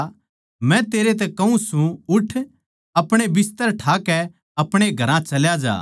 मै तेरै तै कहूँ सूं उठ आपणे बिस्तर ठाकै आपणे घरां चल्या जा